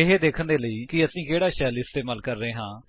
ਇਹ ਦੇਖਣ ਦੇ ਲਈ ਕਿ ਅਸੀਂ ਕਿਹੜਾ ਸ਼ੈਲ ਇਸਤੇਮਾਲ ਕਰ ਰਹੇ ਹਾਂ